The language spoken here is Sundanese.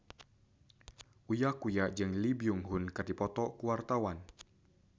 Uya Kuya jeung Lee Byung Hun keur dipoto ku wartawan